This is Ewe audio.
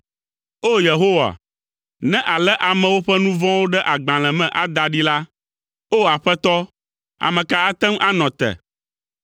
O! Yehowa, ne àlé amewo ƒe nu vɔ̃wo ɖe agbalẽ me ada ɖi la, O! Aƒetɔ, ame ka ate ŋu anɔ te?